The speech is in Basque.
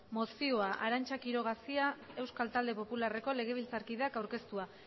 mozioa arantza quiroga cia euskal talde popularreko legebiltzarkideak aurkeztua